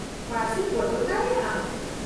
ᱯᱟ.ᱨᱥᱤᱢ ᱵᱚᱫᱚᱞ ᱫᱟᱲᱮᱭᱟᱜᱼᱟ ᱾